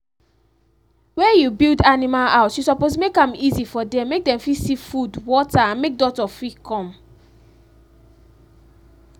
where you build animal house u suppose make am easy for them make dem fit see food water and make doctor fir come